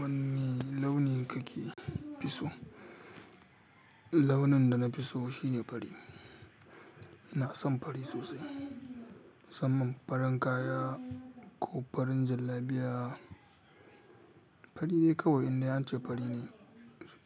Wani launi kake so? Launin da na fi so shine fari. Ina son fari sosai. Musamman farin kaya ko farin jallabiya, fari ni kawai indai an ce fari ne.